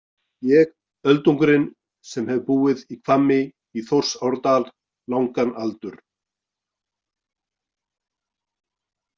Ég öldungurinn sem hef búið í Hvammi í Þórsárdal langan aldur.